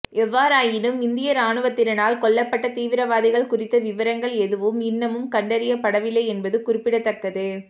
எவ்வாறாயினும் இந்திய இராணுவத்தினரால் கொல்லப்பட்ட தீவிரவாதிகள் குறித்த விவரங்கள் எதுவும் இன்னமும் கண்டறியப்படவில்லை என்பது குறிப்பிடத்தக்கது